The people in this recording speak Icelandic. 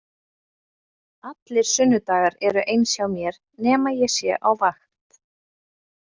Allir sunnudagar eru eins hjá mér nema ég sé á vakt.